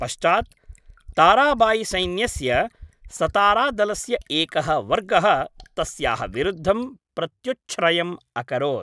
पश्चात् ताराबायिसैन्यस्य सतारादलस्य एकः वर्गः तस्याः विरुद्धं प्रत्युच्छ्रयम् अकरोत्।